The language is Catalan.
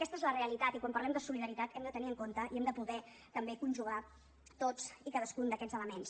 aquesta és la realitat i quan parlem de solidaritat hem de tenir en compte i hem de poder també conjugar tots i cadascun d’aquests elements